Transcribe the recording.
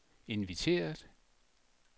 inviteret